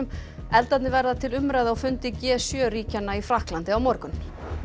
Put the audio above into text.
eldarnir verða til umræðu á fundi g sjö ríkjanna í Frakklandi á morgun